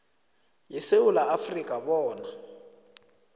yesewula afrika bona